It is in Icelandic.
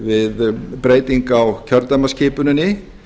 við breytingu á kjördæmaskipuninni